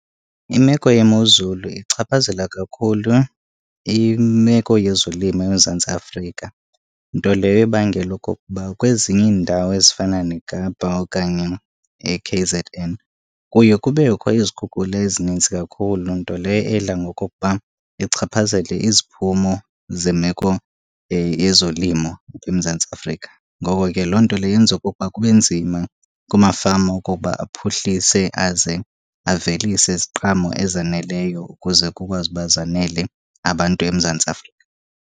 Imeko yemozulu ichaphazela kakhulu imeko yezolimo eMzantsi Afrika, nto leyo ebangela okokuba kwezinye iindawo ezifana neKapa okanye iK_Z_N kuye kubekho izikhukhula ezinintsi kakhulu nto leyo edla ngokokuba ichaphazele iziphumo zemeko yezolimo eMzantsi Afrika. Ngoko ke loo nto leyo yenza okokuba kube nzima kumafama okokuba aphuhlise aze avelise iziqhamo ezaneleyo ukuze kukwazi uba zanele abantu eMzantsi Afrika.